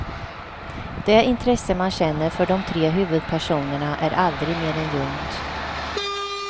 Det intresse man känner för de tre huvudpersonerna är aldrig mer än ljumt.